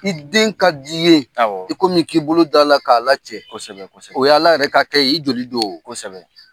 I den ka di ye, awɔ, i komi i k'i bolo d'a la k'a lacɛ kosɛbɛ o y'Ala yɛrɛ ka kɛ ye i joli do o, kosɛbɛ.